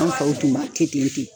An faw tun b'a kɛ ten ten.